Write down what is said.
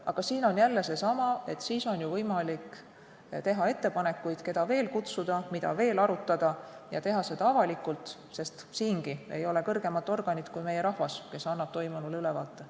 Aga siin on jälle seesama, et siis on ju võimalik teha ettepanekuid, keda veel kutsuda, mida veel arutada, ja teha seda avalikult, sest siingi ei ole kõrgemat organit kui meie rahvas, kes annab toimunule hinnangu.